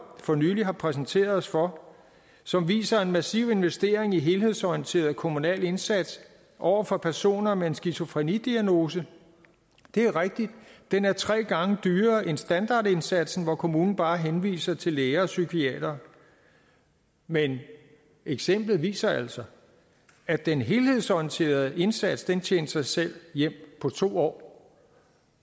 for nylig har præsenteret os for som viser en massiv investering i helhedsorienteret kommunal indsats over for personer med en skizofrenidiagnose det er rigtigt at den er tre gange dyrere end standardindsatsen hvor kommunen bare henviser til læger og psykiatere men eksemplet viser altså at den helhedsorienterede indsats tjente sig selv hjem på to år